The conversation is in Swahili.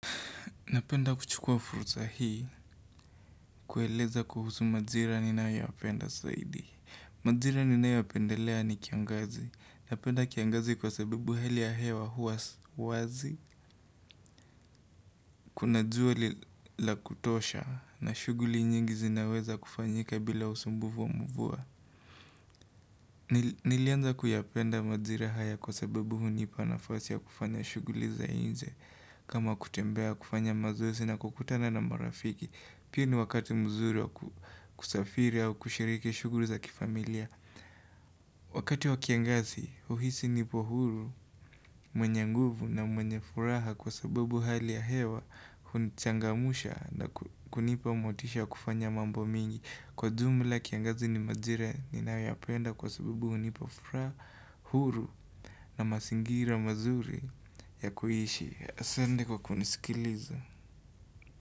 Napenda kuchukua fursa hii, kueleza kuhusu majira ninayoyapenda zaidi. Majira ninayo yapendelea ni kiangazi. Napenda kiangazi kwa sababu hali ya hewa huwa wazi. Kuna jua la kutosha na shughuli nyingi zinaweza kufanyika bila usumbufu wa mvua. Nilianza kuyapenda majira haya kwa sababu hunipa nafasi ya kufanya shughuli za nje. Kama kutembea kufanya mazoezi na kukutana na marafiki. Pia ni wakati mzuri wa kusafiri au kushiriki shughuli za kifamilia Wakati wa kiangazi, huhisi nipo huru, mwenye nguvu na mwenye furaha kwa sababu hali ya hewa huni changamsha na kunipa motisha ya kufanya mambo mingi Kwa jumla kiangazi ni majira ninayoyapenda kwa sababu hunipa furaha, huru na mazingira mazuri ya kuishi Asante kwa kunisikiliza.